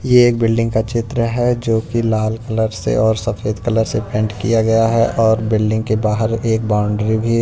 ये एक बिल्डिंग का चित्र है जो कि लाल कलर से और सफेद कलर से पेंट किया गया है और बिल्डिंग के बाहर एक बाउंड्री भी--